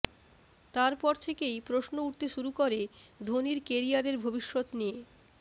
তারপর থেকেই প্রশ্ন উঠতে শুরু করে ধোনির কেরিয়ারের ভবিষ্যৎ নিয়ে